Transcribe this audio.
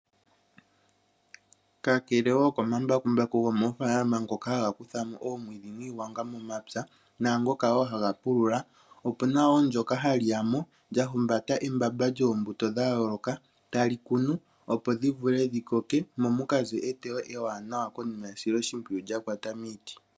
Kakele woo komambakumbaku gomoofaalama ngoka haga kuthamo omwiidhi niigwanga momapya naangoka woo haga pulula, opuna woo ndyoka hali yamo lya humbata embamba lyoombuto dha yooloka tali kunu opo dhi vule dhi koke mo mukaze eteyo ewanawa konima yesiloshimpwiyu lya kwata miiti.